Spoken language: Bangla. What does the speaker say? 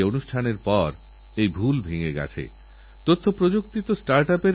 এটা আপনার আয়ের এক নতুন উৎস হতে পারে আর ভারতবর্ষকে কাঠ আমদানি থেকে বাঁচাতেওপারেন